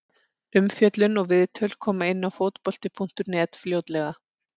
Umfjöllun og viðtöl koma inn á Fótbolti.net fljótlega.